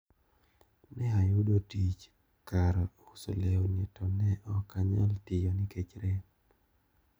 Ne ayudo tich kar uso lewni to ne ok anyal tiyo nikech rem.